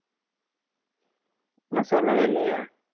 இன்னும் சொல்லவே இல்லையே